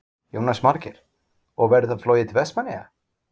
Jónas Margeir: Og verður þá flogið til Vestmannaeyja?